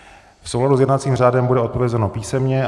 V souladu s jednacím řádem bude odpovězeno písemně.